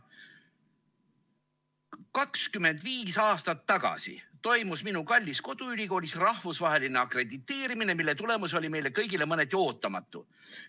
25 aastat tagasi toimus minu kallis koduülikoolis rahvusvaheline akrediteerimine, mille tulemus oli meile kõigile mõneti ootamatu.